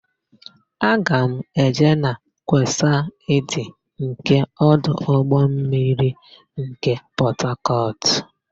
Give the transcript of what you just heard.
Aga m eje na kwesaịdị nke ọdụ ụgbọmmiri nke Pọtakọtụ.